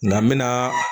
Nga n bɛna